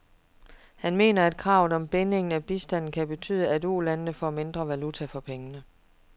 Han mener, at kravet om binding af bistanden kan betyde, at ulandene får mindre valuta for pengene.